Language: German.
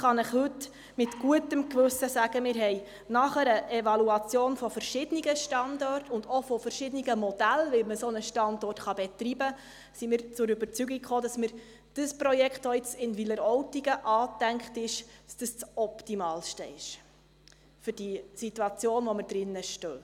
Ich kann Ihnen heute mit gutem Gewissen sagen: Wir sind nach einer Evaluation verschiedener Standorte und auch verschiedener Modelle, wie man einen solchen Standort betreiben kann, zur Überzeugung gelangt, dass das Projekt, das jetzt in Wileroltigen angedacht ist, das idealste ist für die Situation, in der wir stecken.